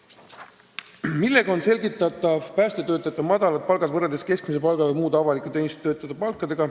Teine küsimus: "Millega on selgitatavad päästetöötajate madalad palgad võrreldes keskmise palga või muude avaliku teenistuse töötajate palkadega?